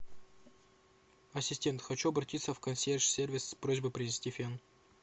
ассистент хочу обратиться в консьерж сервис с просьбой принести фен